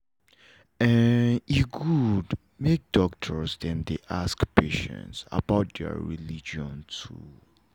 e good make doctors dem dey ask patients about their religion too.